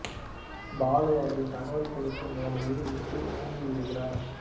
பாலு அவரின் தகவல் கொடுக்கும் வேலையை விட்டு நீங்கி விடுகிறார்